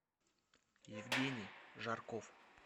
евгений жарков